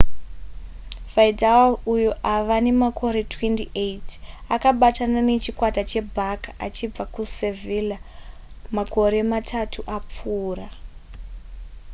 vidal uyo ava nemakore 28 akabatana nechikwata chebarça achibva kusevilla makore matatu apfuura